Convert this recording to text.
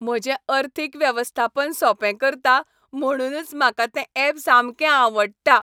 म्हजें अर्थीक वेवस्थापन सोंपें करता, म्हुणूनच म्हाका तें ऍप सामकें आवडटा.